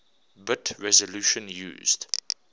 bit resolution used